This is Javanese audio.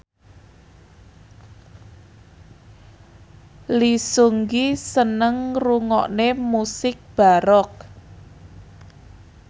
Lee Seung Gi seneng ngrungokne musik baroque